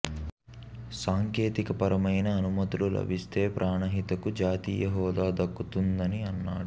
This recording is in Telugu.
సాంకేతికపరమైన అనుమతులు లబిస్తే ప్రాణహిత కు జాతీయ హోదా దక్కుతుందని అన్నాడు